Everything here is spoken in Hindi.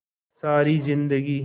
सारी जिंदगी